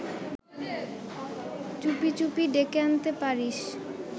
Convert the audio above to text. চুপি চুপি ডেকে আনতে পারিস